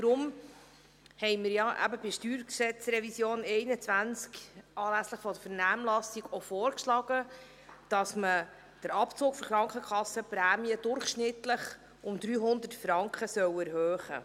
Deshalb haben wir bei der StG-Revision 2021 anlässlich der Vernehmlassung auch vorgeschlagen, den Abzug für die Krankenkassenprämien um durchschnittlich 300 Franken zu erhöhen.